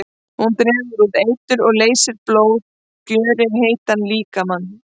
Hún dregur út eitur og leysir blóð, gjörir heitan líkama.